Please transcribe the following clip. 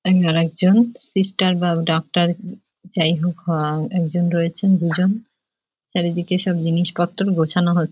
আর আরেকজন সিস্টার বা ডাক্তার যাই হোক আঃ একজন রয়েছেন | দুজন চারিদিকে সব জিনিস পত্র গোছানো হ--